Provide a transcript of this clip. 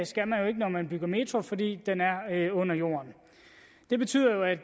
skal man jo ikke når man bygger metro fordi den er er under jorden det betyder jo at